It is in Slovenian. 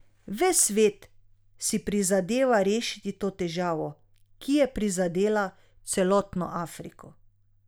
Ves svet si prizadeva rešiti to težavo, ki je prizadela celotno Afriko.